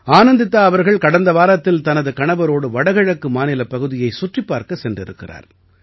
ஆனந்திதா அவர்கள் கடந்த வாரத்தில் தனது கணவரோடு வடகிழக்கு மாநிலப் பகுதியைச் சுற்றிப் பார்க்கச் சென்றிருக்கிறார்